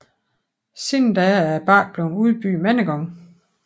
Siden da er bakken blevet udbygget mange gange